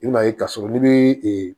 I bɛna ye k'a sɔrɔ n'i bɛ